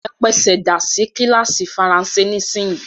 E pesèdà sí kílàsì faransé nísinyì!